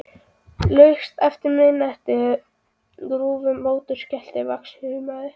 Laust eftir miðnætti rufu mótorskellir vaxandi húmið.